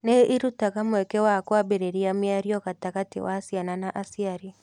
Nĩ irutaga mweke wa kwambĩrĩria mĩario gatagatĩ wa ciana na aciari.